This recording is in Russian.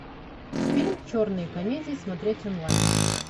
фильм черные комедии смотреть онлайн